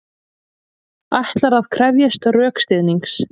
Ætlar að krefjast rökstuðnings